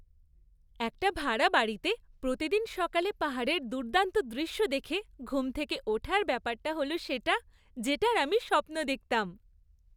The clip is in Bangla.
একটা ভাড়া বাড়িতে প্রতিদিন সকালে পাহাড়ের দুর্দান্ত দৃশ্য দেখে ঘুম থেকে ওঠার ব্যাপারটা হল সেটা, যেটার আমি স্বপ্ন দেখতাম!